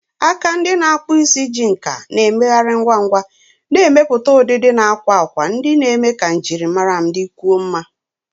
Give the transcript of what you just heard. Aka ndị na-akpụ isi ji nkà na-emegharị ngwa ngwa, na-emepụta ụdịdị na akwa akwa ndị na-eme ka njirimara m dịkwuo mma.